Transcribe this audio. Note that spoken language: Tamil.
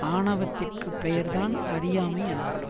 ஆணவத்திற்குப் பெயர்தான் அறியாமை எனப்படும்